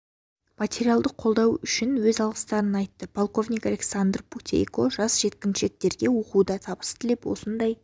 материалдық қолдау үшін өз алғыстарын айтты полковник александр путейко жас жеткіншектерге оқуда табыс тілеп осындай